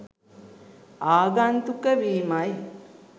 ආගන්තුක වීමයි.